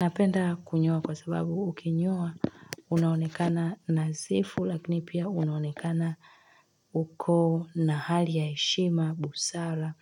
Napenda kunyoa kwa sababu ukinyoa unaonekana na sifu lakini pia unaonekana huko na hali ya heshima, busara